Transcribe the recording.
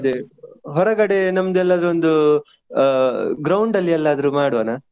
ಅದೇ ಹೊರಗಡೆ ನಮ್ದು ಎಲ್ಲಾದ್ರೂ ಒಂದು ground ಅಲ್ಲಿ ಎಲ್ಲಿಯಾದ್ರೂ ಮಾಡ್ವಾನ?